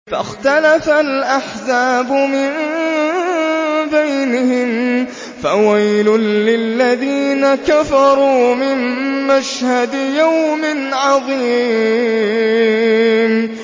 فَاخْتَلَفَ الْأَحْزَابُ مِن بَيْنِهِمْ ۖ فَوَيْلٌ لِّلَّذِينَ كَفَرُوا مِن مَّشْهَدِ يَوْمٍ عَظِيمٍ